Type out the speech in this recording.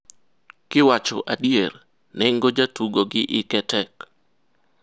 "kiwacho adier, nengo jatugo gi hike tek.